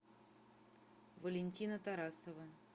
валентина тарасова